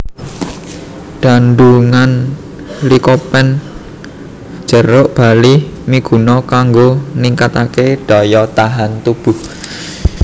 Kandungan likopen jeruk bali miguna kanggo ningkataké daya tahan tubuh